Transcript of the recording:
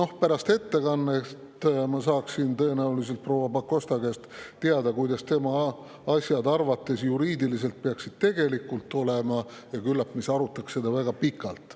Aga pärast ettekannet saaksin ma tõenäoliselt proua Pakosta käest teada, kuidas asjad peaksid tema arvates juriidiliselt tegelikult olema, ja küllap me arutaksime seda siis väga pikalt.